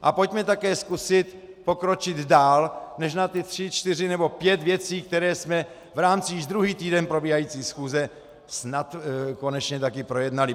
A pojďme také zkusit pokročit dál než na ty tři, čtyři nebo pět věcí, které jsme v rámci již druhý týden probíhající schůze snad konečně taky projednali.